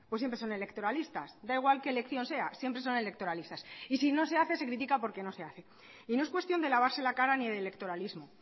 pues siempre son electoralistas da igual que elección siempre son electoralistas y si no se hace se crítica porque no se hace y no es cuestión de lavarse la cara ni de electoralismo